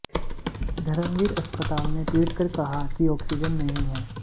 धर्मवीर अस्पताल ने ट्वीट कर कहा कि ऑक्सीजन नहीं है